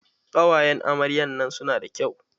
Ƙawayan amaryan nan su na da kyau.